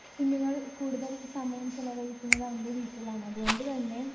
കുഞ്ഞുങ്ങൾ കൂടുതൽ സമയം ചെലവഴിക്കുന്നത് അവൻ്റെ വീട്ടിലാണതുകൊണ്ടുതന്നെ